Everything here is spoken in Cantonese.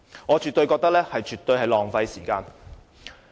我絕對認為他們的做法浪費時間。